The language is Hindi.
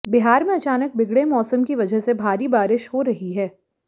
बिहार में अचानक बिगड़े मौसम की वजह से भारी बारिश हो रही है